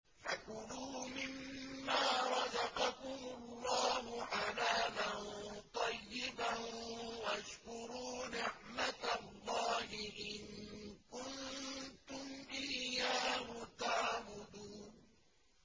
فَكُلُوا مِمَّا رَزَقَكُمُ اللَّهُ حَلَالًا طَيِّبًا وَاشْكُرُوا نِعْمَتَ اللَّهِ إِن كُنتُمْ إِيَّاهُ تَعْبُدُونَ